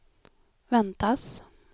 väntas